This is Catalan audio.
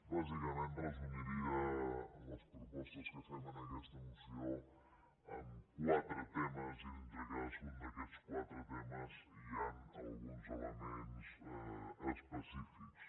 bàsicament resumiria les propostes que fem en aquesta moció en quatre temes i dintre de cadascun d’aquests quatre temes hi han alguns elements específics